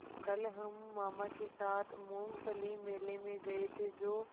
कल हम मामा के साथ मूँगफली मेले में गए थे जो